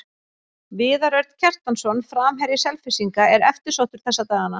Viðar Örn Kjartansson, framherji Selfyssinga, er eftirsóttur þessa dagana.